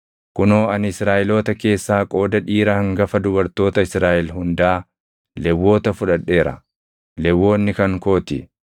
“Kunoo ani Israaʼeloota keessaa qooda dhiira hangafa dubartoota Israaʼel hundaa Lewwota fudhadheera. Lewwonni kan koo ti;